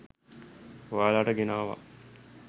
ඔයාලට ගෙනාවා.